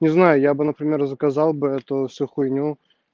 не знаю я бы например заказал бы ту всю хуйню